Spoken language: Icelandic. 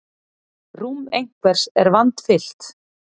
Rúm einhvers er vandfyllt